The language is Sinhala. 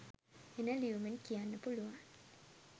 එන ලියුමෙන් කියන්න පුළුවන්